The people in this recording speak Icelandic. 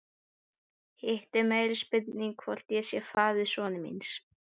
Hitt er meiri spurning hvort ég sé faðir sonar míns.